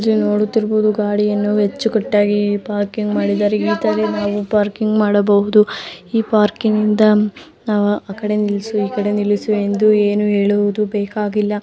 ಇಲ್ಲಿ ನಾವು ನೋಡುತ್ತಿರುವುದು ಗಾಡಿಯನ್ನು ಅಚ್ಚು ಕಾಟ್ಟಾಗಿ ಪಾರ್ಕಿಂಗ್ ಮಾಡಿದ್ದಾರೆ. ಇತರ ನಾವು ಪಾರ್ಕಿಂಗ್ ಮಾಡಬಹುದು. ಈ ಪಾರ್ಕಿಂಗ್ ಇಂದ ನಾವು ಆಕಡೆ ನಿಲ್ಸು ಈಕಡೆ ನಿಲ್ಸು ಎಂದು ಏನು ಹೇಳುವುದು ಬೇಕಾಗಿಲ್ಲ.